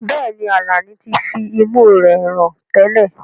Bẹ́ẹ̀ni, Alani ti fi imú rẹ̀ rùn tẹ́lẹ̀.